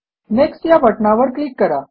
next या बटणावर click करा